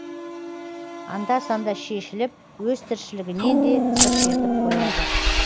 анда санда шешіліп өз тіршілігінен де сыр шертіп қояды